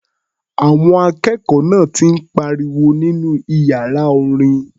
Àwọn akẹ́kọ̀ọ́ náà ti ń pariwo nínú iyàra orin.